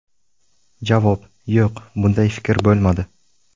Javob: Yo‘q, bunday fikr bo‘lmadi.